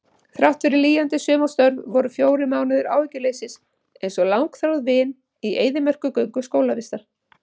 Þráttfyrir lýjandi sumarstörf voru fjórir mánuðir áhyggjuleysis einsog langþráð vin í eyðimerkurgöngu skólavistar.